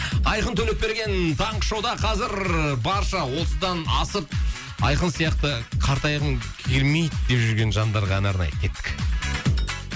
айқын төлепберген таңғы шоуда қазір барша отыздан асып айқын сияқты қартайғым келмейді деп жүрген жандарға ән арнайды кеттік